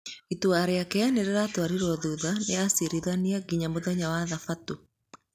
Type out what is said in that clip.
Itua rĩake nĩ rĩratwarĩruo thutha nĩ acirithania nginya mũthenya wa Thabatũ.